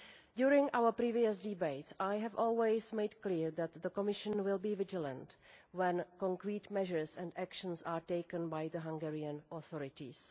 During our previous debates I have always made it clear that the Commission will be vigilant when concrete measures and actions are taken by the Hungarian authorities.